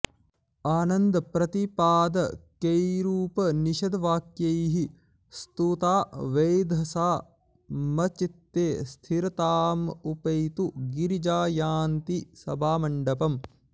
आनन्दप्रतिपादकैरुपनिषद्वाक्यैः स्तुता वेधसा मच्चित्ते स्थिरतामुपैतु गिरिजा यान्ती सभामण्डपम्